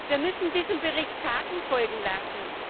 Wir müssen diesem Bericht Taten folgen lassen!